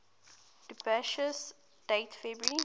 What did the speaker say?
dubious date february